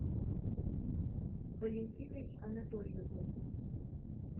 валентиной анатольевной